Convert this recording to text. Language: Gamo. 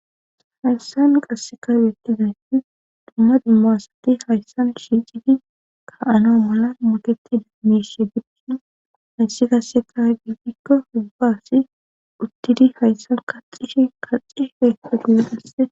hayssan qassek awetiday dumma dimma asati hayssan shiicidi ka7ano mala moketida miishe bidkin hayssi qasseka gefikko hubbasi uttidi hayssan kaxishi kaxi heeko giidhasse